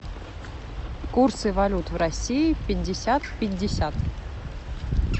курсы валют в россии пятьдесят пятьдесят